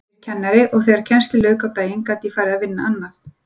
Ég er kennari og þegar kennslu lauk á daginn gat ég farið að vinna annað.